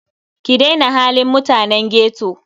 Ki daina halin mutanen ghetto.